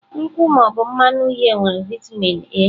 Nkwụ ma ọ bụ mmanụ uhie nwere vitamin A.